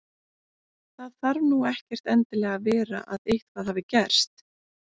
Það þarf nú ekkert endilega að vera að eitthvað hafi gerst.